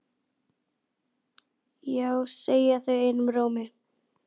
Já segja þau einum rómi.